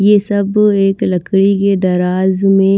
ये सब एक लकड़ी के दराज में--